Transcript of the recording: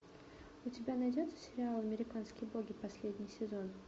у тебя найдется сериал американские боги последний сезон